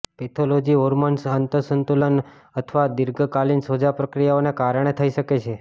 pathology હોર્મોન્સનું અસંતુલન અથવા દીર્ઘકાલિન સોજા પ્રક્રિયાઓને કારણે થઈ શકે છે